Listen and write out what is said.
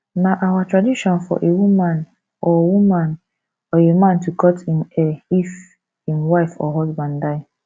na our tradition for a woman or woman or a man to cut im hair if im wife or husband die